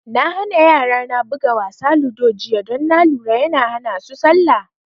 Na hana yara na buga wasa ludo jiya don na lura yana hana su salla